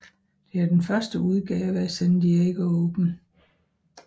Det er den første udgave af San Diego Open